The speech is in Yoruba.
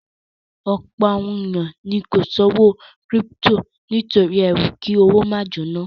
Ọ̀pọ̀ àwọn èèyàn ni kò ṣòwò kírípítò nítorí ẹrú kí owó máa jóná